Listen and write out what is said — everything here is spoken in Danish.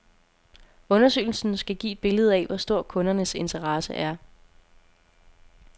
Undersøgelsen skal give et billede af, hvor stor kundernes interesse er.